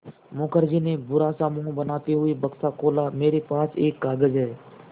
मुखर्जी ने बुरा सा मुँह बनाते हुए बक्सा खोला मेरे पास एक कागज़ है